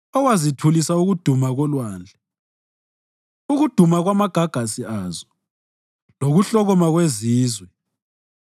owathulisa ukuduma kolwandle, ukuduma kwamagagasi azo, lokuhlokoma kwezizwe.